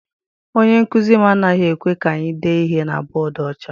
Onye nkụzi m anaghị ekwe ka anyị dee ihe na bọdu ọcha.